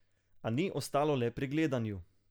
A ni ostalo le pri gledanju.